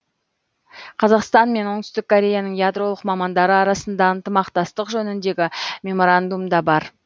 қазақстан мен оңтүстік кореяның ядролық мамандары арасында ынтымақтастық жөніндегі меморандум да бар